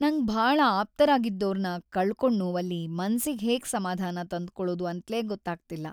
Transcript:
ನಂಗ್‌ ಭಾಳ ಆಪ್ತರಾಗಿದ್ದೋರ್ನ ಕಳ್ಕೊಂಡ್ ನೋವಲ್ಲಿ ‌ಮನ್ಸಿಗ್‌ ಹೇಗ್ ಸಮಾಧಾನ ತಂದ್ಕೊಳದು ಅಂತ್ಲೇ ಗೊತ್ತಾಗ್ತಿಲ್ಲ.